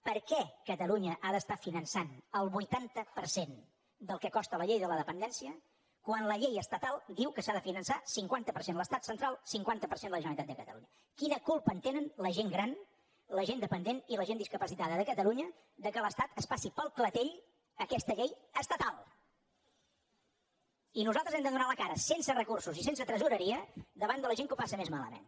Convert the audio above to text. per què catalunya ha d’estar finançant el vuitanta per cent del que costa la llei de la dependència quan la llei estatal diu que s’ha de finançar cinquanta per cent l’estat central cinquanta per cent la generalitat de catalunya quina culpa en tenen la gent gran la gent dependent i la gent discapacitada de catalunya que l’estat es passi pel clatell aquesta llei estatal i nosaltres hem de donar la cara sense recursos i sense tresoreria davant de la gent que ho passa més malament